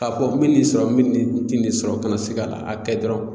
K'a fɔ ko bɛ nin sɔrɔ nin ti nin sɔrɔ kana sikala a kɛ dɔrɔn.